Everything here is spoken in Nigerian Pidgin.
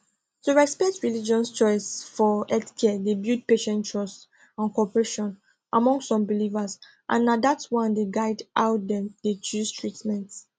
to respect religious choice for healthcare dey build patient trust and cooperation among some believers and na that one dey guide how dem deychoose treatment